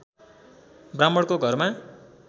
ब्राह्मणको घरमा